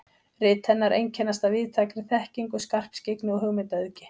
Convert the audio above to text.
Rit hennar einkennast af víðtækri þekkingu, skarpskyggni og hugmyndaauðgi.